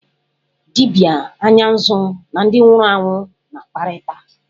Dibịa anya nzu na ndị nwụrụ anwụ na-akparịta.